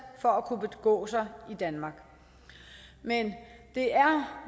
for at kunne begå sig i danmark men det er